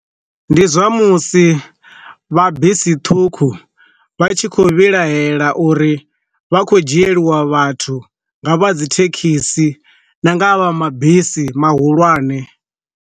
Ndi zwa musi vha bisi ṱhukhu vha tshi khou vhilahela uri vha khou dzhielwa vhathu nga vha dzi thekhisi na nga a vha mabisi mahulwane.